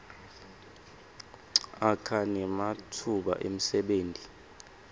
akha nematfuba emsebenti